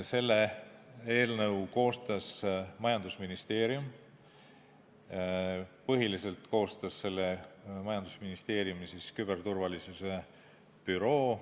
Selle eelnõu koostas majandusministeerium, põhiliselt koostas selle majandusministeeriumi küberturvalisuse büroo.